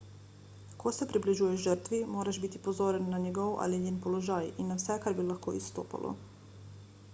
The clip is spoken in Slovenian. ko se približuješ žrtvi moraš biti pozoren na njegov ali njen položaj in na vse kar bi lahko izstopalo